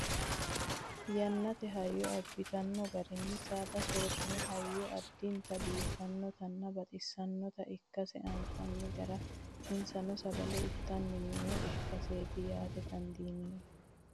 Yannate hayyo abbitino garinni saada soorranni hayyo addinta biiffannotanna baxissannota ikkase anfanni gara insano sagale itanni noowa ikkaseeti yaate dandiineemmo